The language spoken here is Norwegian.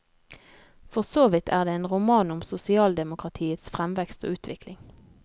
For såvidt er det en roman om sosialdemokratiets fremvekst og utvikling.